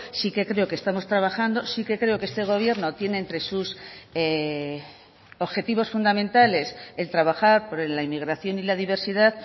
sí que creo que estamos trabajando sí que creo que este gobierno tiene entre sus objetivos fundamentales el trabajar por la inmigración y la diversidad